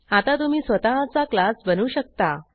आता तुम्ही स्वतःचा क्लास बनवू शकता